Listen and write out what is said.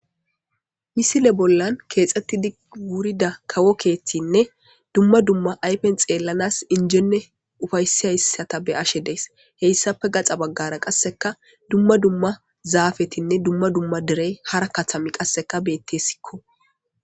Misile bollan keexxettidi wurida kawo keetinne dumma dumma aypen xeellanas injenne ufayssihayssata be ashe dees heyssafe gaxa baggara qasseka dumma dumma zaafetinne dumma dumma derey hara katami qasseka beettesikko.